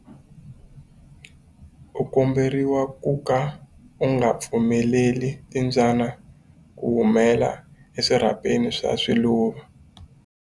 U komberiwa ku ka u nga pfumeleli timbyana ku humela eswirhapeni swa swiluva.